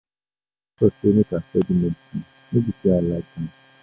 Na my pastor sey make I study medicine no be sey I like am.